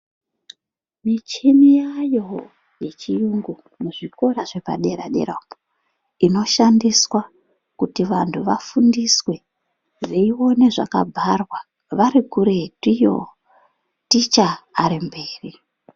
Michini yaayowo yechiyungu muzvikora zvepadera dera inoshandiswa kuti vantu vafundiswe veione zvakabharwa vari kuretu iyo ticha ari mberi .